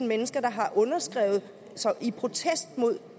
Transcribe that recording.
mennesker der har underskrevet i protest mod